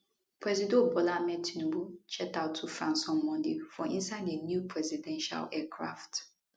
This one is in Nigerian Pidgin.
presido bola ahmed tinubu jet out to france on monday for inside di new presidential aircraft